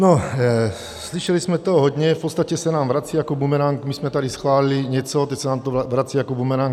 No, slyšeli jsme toho hodně, v podstatě se nám vrací jako bumerang - my jsme tady schválili něco, teď se nám to vrací jako bumerang.